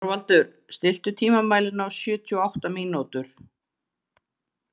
Þorvaldur, stilltu tímamælinn á sjötíu og átta mínútur.